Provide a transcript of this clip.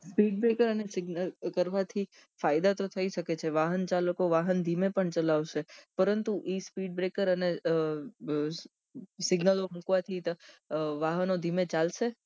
speed breaker અને signal કરવાથી ફાયદા તો થઇ સકે છે વાહન ચાલકો વાહન ધીમે ચલાવશે પરંતુ એ speed breaker અને signal મુકવાથી વાહનો ધીમે ચાલસે